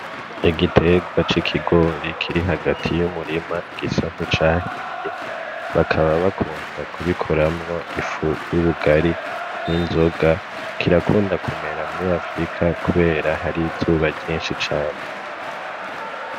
Igitegwa c'ikigori kiri hagati y'umurima gisa nkicahiye, bakaba bakunda kubikoramwo ifu y'ubugari n'inzoga. Kirakunda kumera muri afurika kubera hari izuba ryinshi cane.